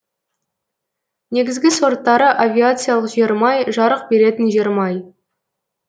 негізгі сорттары авиациялық жермай жарық беретін жермай